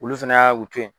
Olu fɛnɛ y'a woto ye